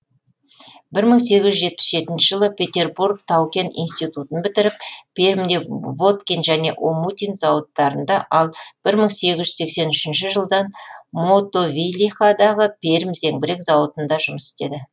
бір мың сегіз жүз сексен жетінші жылы петербург тау кен институтын бітіріп пермьде воткин және омутин зауыттарында ал бір мың сегіз жүз сексен үшінші жылдан мотовилихадағы пермь зеңбірек зауытында жұмыс істеді